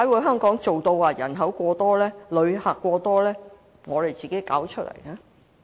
香港人口過多、旅客過多，是我們自己一手造成。